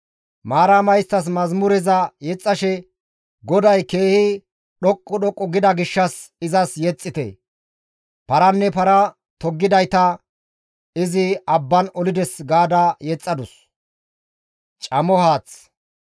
Maarama isttas mazamureza yexxashe, «GODAY keehi dhoqqu dhoqqu gida gishshas izas yexxite. Paranne para toggidayta izi abban olides» ga yexxadus.